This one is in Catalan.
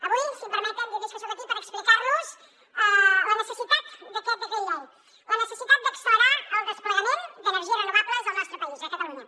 avui si em permeten dir los que soc aquí per explicar los la necessitat d’aquest decret llei la necessitat d’accelerar el desplegament d’energies renovables al nostra país a catalunya